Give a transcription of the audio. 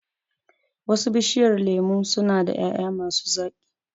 Wasu Bishiyar lemun su na da ƴaƴa ma su zaƙi